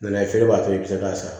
N'an ye feere b'a to i bɛ se k'a sara